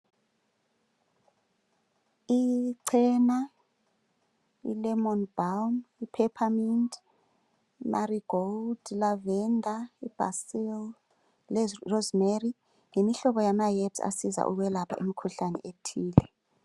IChena, iLemon Balm, iPepper mint, iMarigold, iLavender, iBasil leRosemary yimihlobo yamaherbs asiza ukwelapha imikhuhlane ethile.